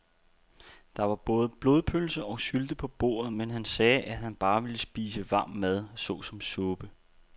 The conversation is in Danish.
Der var både blodpølse og sylte på bordet, men han sagde, at han bare ville spise varm mad såsom suppe.